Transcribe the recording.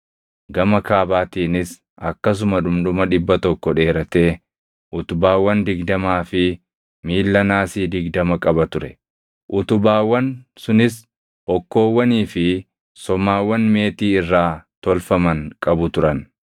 Gama kaabaatiinis akkasuma dhundhuma dhibba tokko dheeratee utubaawwan digdamaa fi miilla naasii digdama qaba ture; utubaawwan sunis hokkoowwanii fi somaawwan meetii irraa tolfaman qabu turan.